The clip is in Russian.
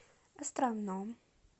островном